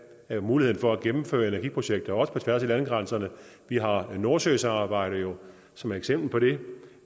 have muligheden for at gennemføre energiprojekter også på tværs af landegrænserne vi har nordsøsamarbejdet som et eksempel på det